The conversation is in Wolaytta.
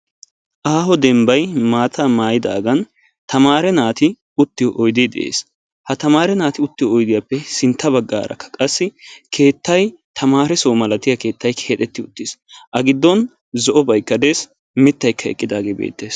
Aaho dembbay maataa maayidaagan tamaare naati uttiyo oydee de'ees. ha tamaare nati oydiyappe sinta bagaara qassi keettay tamaresoo milatiyaa keettay keexetti uttis. A giddon zo'obaykka des, miytaykka eqqidaage de'ees.